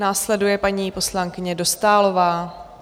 Následuje paní poslankyně Dostálová.